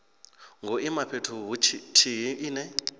ngo ima fhethu huthihi ine